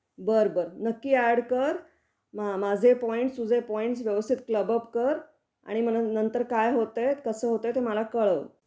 बरं बरं नक्की ऍड कर. म माझे पॉईंट्स तुझे पॉईंट्स व्यवस्थित क्लब अप कर आणि मग नंतर काय होत आहे, कस होत आहे ते मला कळव.